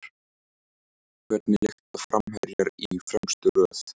Hvernig lyfta framherjar í fremstu röð?